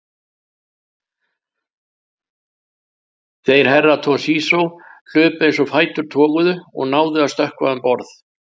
Þeir Herra Toshizo hlupu eins og fætur toguðu og náðu að stökkva um borð.